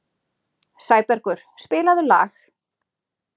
Sæbergur, spilaðu lag.